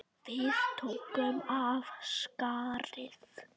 Við tókum af skarið.